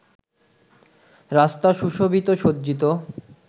রাস্তা সুশোভিত ও সজ্জিত